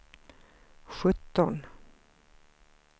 sjutton